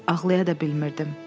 Ağlaya da bilmirdim.